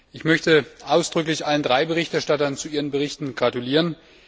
Ich möchte ausdrücklich allen drei Berichterstattern zu ihren Berichten gratulieren.